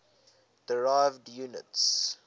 derived units